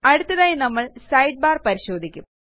അടുത്തതായി നമ്മൾ സൈഡ്ബാർ പരിശോധിക്കും